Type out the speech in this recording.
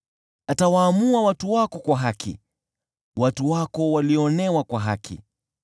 Atawaamua watu wako kwa haki, watu wako walioonewa kwa haki.